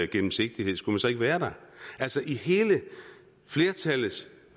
gennemsigtighed skulle man så ikke være der altså flertallets